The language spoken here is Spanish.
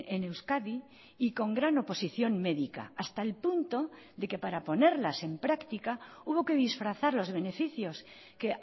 en euskadi y con gran oposición médica hasta el punto de que para ponerlas en práctica hubo que disfrazar los beneficios que